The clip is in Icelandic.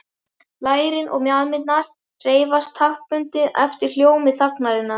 Lærin og mjaðmirnar hreyfast taktbundið eftir hljómi þagnarinnar.